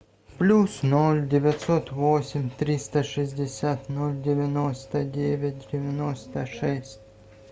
плюс ноль девятьсот восемь триста шестьдесят ноль девяносто девять девяносто шесть